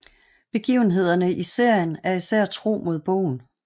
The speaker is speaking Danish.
Begivenhederne i serien er især tro mod bogen